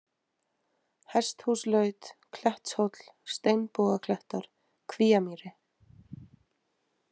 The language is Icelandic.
Hesthúslaut, Klettshóll, Steinbogaklettar, Kvíamýri